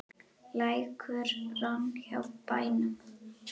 Lækur rann hjá bænum.